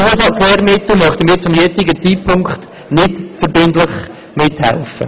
Auch bei den Zusatzlehrmitteln möchten wir zum gegenwärtigen Zeitpunkt nicht verbindlich mithelfen.